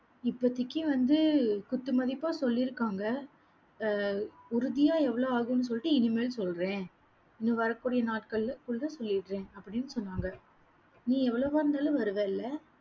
இப்போத்திக்கு வந்து குத்து மதிப்பா சொல்லிருக்காங்க ஆஹ் உறுதியா எவ்வளவு ஆகும்னு சொல்லிட்டு இனிமேல் சொல்றேன் இனி வரக்கூடிய நாட்களிலே full ஆ சொல்லிடுறேன் அப்படின்னு சொன்னாங்க. நீ எவ்வளவா இருந்தாலும் வருவேல்ல?